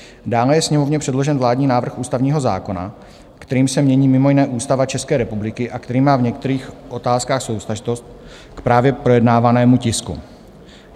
Dále je Sněmovně předložen vládní návrh ústavního zákona, kterým se mění mimo jiné Ústava České republiky a který má v některých otázkách souvztažnost k právě projednávanému tisku.